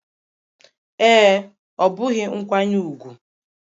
Ee, ọ bụghị nkwanye ùgwù